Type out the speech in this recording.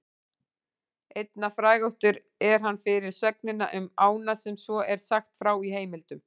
Einna frægastur er hann fyrir sögnina um ána sem svo er sagt frá í heimildum: